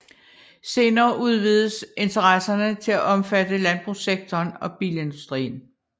Senere udvidedes interesserne til at omfatte landbrugssektoren og bilindustrien